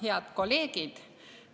Head kolleegid!